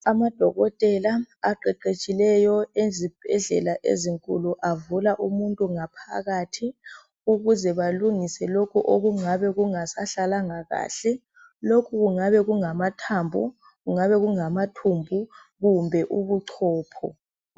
Amadokotela aqeqetshileyo ezibhedlela ezinkulu, avula umuntu ngaphakathi ukuze balungise lokhu okungabe kungasahlalanga kahle, lokhu kungabe kungamathambo, kungabe kungamathumbu kumbe ubuchopho.